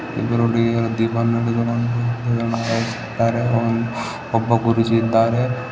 ಇಬ್ಬರು ಹುಡುಗಿಯರು ದೀಪ ಅನ್ನು ಹಿಡಿದು ಹ್ ಹ್ ಒಬ್ಬ ಗುರೂಜಿ ಇದ್ದಾರೆ.